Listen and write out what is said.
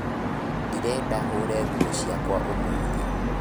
Ndĩrenda hũre nguo ciakwa ũmũthĩ